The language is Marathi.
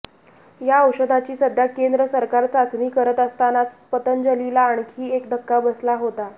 या औषधाची सध्या केंद्र सरकार चाचणी करत असतानाच पतंजलीला आणखी एक धक्का बसला होता